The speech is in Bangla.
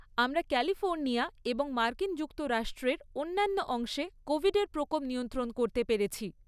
আমরা ক্যালিফোর্নিয়া এবং মার্কিন যুক্তরাষ্ট্রের অন্যান্য অংশে কোভিডের প্রকোপ নিয়ন্ত্রণ করতে পেরেছি।